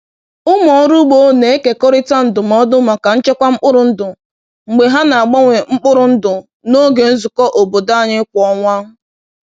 Ụmụ ọrụ ugbo na-ekekọrịta ndụmọdụ maka nchekwa mkpụrụ ndụ mgbe ha na-agbanwe mkpụrụ ndụ n’oge nzukọ obodo anyị kwa ọnwa.